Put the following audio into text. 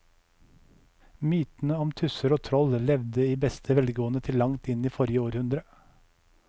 Mytene om tusser og troll levde i beste velgående til langt inn i forrige århundre.